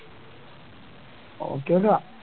നോക്കി നോക്കാം